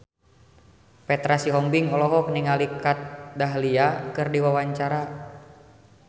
Petra Sihombing olohok ningali Kat Dahlia keur diwawancara